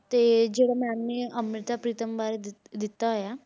ਤੇ ਜਿਹੜਾ ma'am ਨੇ ਅੰਮ੍ਰਿਤਾ ਪ੍ਰੀਤਮ ਬਾਰੇ ਦਿੱਤ~ ਦਿੱਤਾ ਹੋਇਆ,